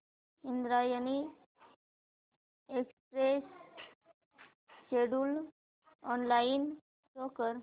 Indrayani express schedule online show कर